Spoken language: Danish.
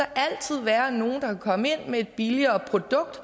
altid være nogle der vil komme ind med et billigere produkt